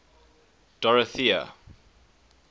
dorothea